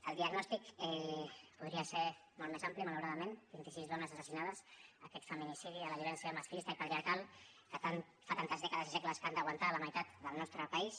el diagnòstic podria ser molt més ampli malauradament vint i sis dones assassinades aquest feminicidi a la violència masclista i patriarcal que fa tantes dècades i segles que han d’aguantar la meitat del nostre país